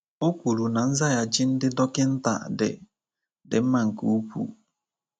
O kwuru na nzaghachi ndị dọkịnta dị dị mma nke ukwuu.